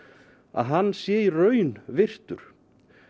að hann sé í raun virtur